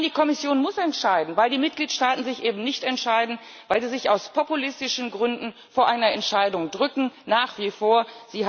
Nein, die Kommission muss entscheiden, weil die Mitgliedstaaten sich eben nicht entscheiden, weil sie sich aus populistischen Gründen vor einer Entscheidung nach wie vor drücken.